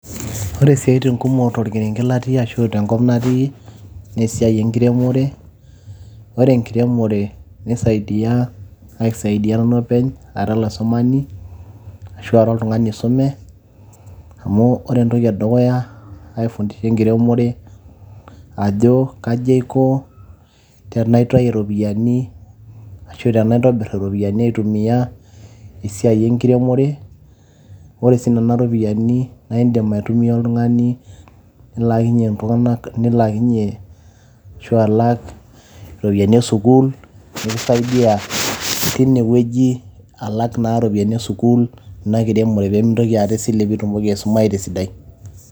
ore isiaatin kumok tenkop natii ashu torkerenket latii naa esiai enkiremore, ore esiai enkiremore, aisaidia nanu openy ara olaisumani ashu ara oltungani oisume, amu ore entoki entoki edukuya aifundisha enkiremore ajo kaji aiko tenaitayu iropiyiani, ashu tenaitayu iropiyiani aitumia apik enkiremore, ore sii nena ropiyiani naa idim aitumia oltungani nilaakinye, ashu alak iropiyiani esukuul, nikisaidia teine wueji alak iropiyiani esukuul. pee itumoki aisuayu esiadai.